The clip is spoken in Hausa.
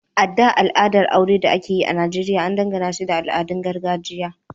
A da, alaƙar aure da ake yi a Nijeriya an danganashi da al’adun gargajiya.